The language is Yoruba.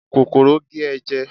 kòkòrò gé e jẹ